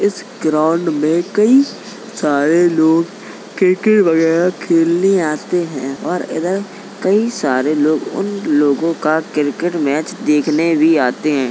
इस ग्राउंड में कई सारे लोग क्रिकेट वगैरा खेलने आते हैं और इधर कई सारे लोग उन लोगों का क्रिकेट मैच देखने भी आते हैं।